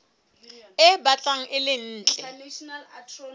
e batlang e le ntle